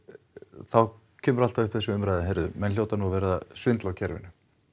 þá kemur alltaf upp þessi umræða heyrðu menn hljóta nú að vera að svindla á kerfinu